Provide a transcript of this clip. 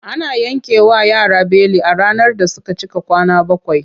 Ana yankewa yara beli a ranar da suka cika kwana bakwai.